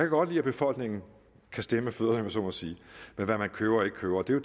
godt lide at befolkningen kan stemme med fødderne så må sige ved hvad man køber og ikke køber og det er